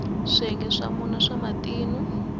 swiyenge swa mune swa matino